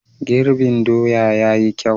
Girbin doya ya yi kyau.